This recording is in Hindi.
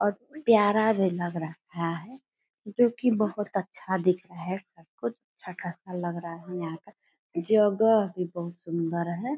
और प्यारा भी लग रहा है जो की बहोत अच्छा दिख रहा हैसबकुछ छोटा सा लग रहा है यहाँ का जगह भी बहोत सुन्दर है।